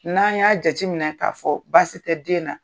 N'an y'a jateminɛ k'a fɔ baasi tɛ den na